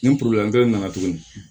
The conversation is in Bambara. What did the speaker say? Nin nana tuguni